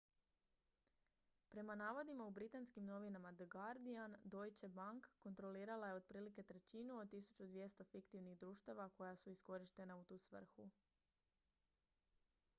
prema navodima u britanskim novinama the guardian deutsche bank kontrolirala je otprilike trećinu od 1200 fiktivnih društava koja su iskorištena u tu svrhu